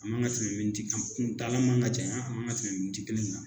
An kan ka tɛmɛti ta man ka caya an ka tɛmɛti kelen na